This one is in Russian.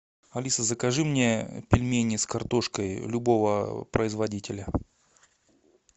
алиса закажи мне пельмени с картошкой любого производителя